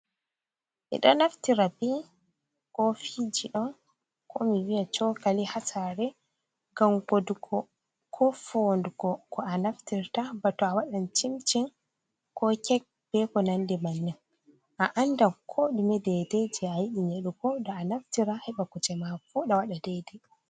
Ɓiɗo naftira bi kofiji ɗo ko mi viya cokali ha sare gam gudugo ko fo dugo ko a naftirta, bato a wadan cimcin, ko kek, beko nandi bannin, a anda ko ɗume Dai dai je a yiɗi a naftira heba kuje ma vuda wada daidai.